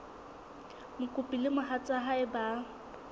mokopi le mohatsa hae ba